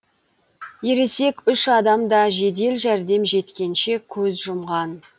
ересек үш адам да жедел жәрдем жеткенше көз жұмған